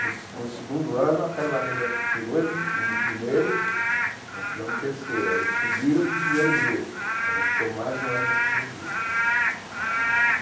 No no segundo ano, a Pérola Negra tirou em em primeiro, nós tiramos em terceiro, aí eles subiram para o primeiro grupo, aí nós ficamos mais um ano no segundo grupo.